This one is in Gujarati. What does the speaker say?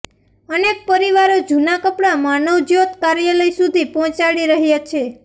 અનેક પરિવારો જુના કપડા માનવજ્યોત કાર્યાલય સુધી પહોંચાડી રહ્યા છે